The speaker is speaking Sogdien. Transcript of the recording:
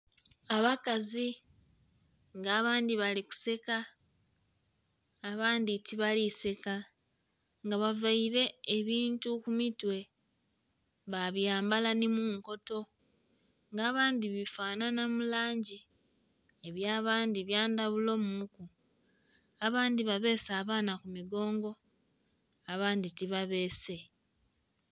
Abakazi nga abandhi bali kuseka abandhi tibalikuseka nga bavaire ebintu kumitwe babyambala nimunkoto nga abandhi bifanhanha mulangi eby'abandhi byandhaghulo muku abandhi babese abaana kumigongo abandhi tibabese.